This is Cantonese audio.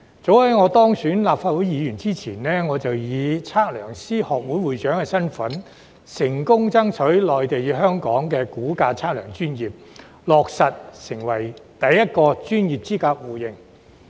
早於當選立法會議員前，我便以香港測量師學會會長身份，成功爭取內地與香港的估價測量專業，落實成為首個專業資格互認。